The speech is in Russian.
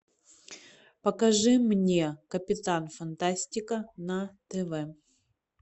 покажи мне капитан фантастика на тв